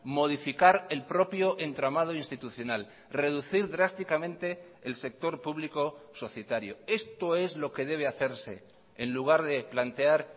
modificar el propio entramado institucional reducir drásticamente el sector público societario esto es lo que debe hacerse en lugar de plantear